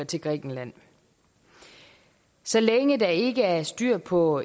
til grækenland så længe der ikke er styr på